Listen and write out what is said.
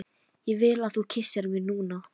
Ég vil að þú kyssir mig núna.